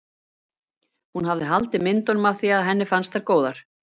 Hún hafði haldið myndunum af því að henni fannst þær góðar.